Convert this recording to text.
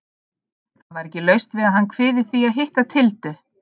Það var ekki laust við að hann kviði því að hitta Tildu.